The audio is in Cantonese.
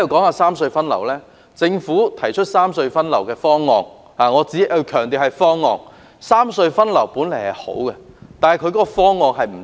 我強調，政府所提出的"三隧分流"方案只是一個"方案"，其原意雖好卻不可行。